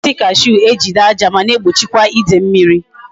E ji osisi cashew ejide aja ma na egbochikwa ide mmiri